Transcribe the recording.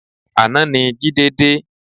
Àná ni Jide dé